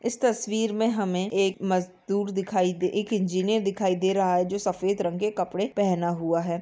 इस तस्वीर में हमें एक मजदूर दिखाई दे एक इंजीनियर दिखाई दे रहा है जो सफेद रंग के कपड़े पहना हुआ है।